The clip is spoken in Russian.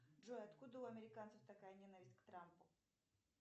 джой откуда у американцев такая ненависть к трампу